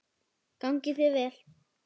Gangi þér vel.